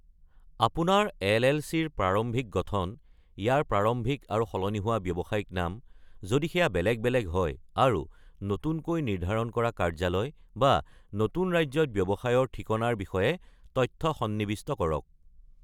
আপোনাৰ এল.এল.চি.-ৰ প্ৰাৰম্ভিক গঠন; ইয়াৰ প্ৰাৰম্ভিক আৰু সলনি হোৱা ব্যৱসায়িক নাম, যদি ই বেলেগ বেলেগ হয়; আৰু নতুনকৈ নিৰ্ধাৰণ কৰা কাৰ্যালয়, বা নতুন ৰাজ্যত ব্যৱসায়ৰ ঠিকনাৰ বিষয়ে তথ্য সন্নিবিষ্ট কৰক।